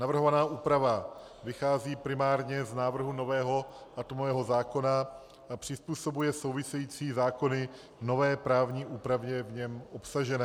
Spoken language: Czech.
Navrhovaná úprava vychází primárně z návrhu nového atomového zákona a přizpůsobuje související zákony nové právní úpravě v něm obsažené.